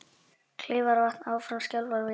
Áfram skjálftar við Kleifarvatn